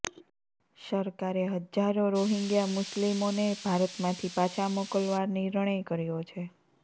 સરકારે હજારો રોહિંગ્યા મુસ્લિમોને ભારતમાંથી પાછા મોકલવા નિર્ણય કર્યો છે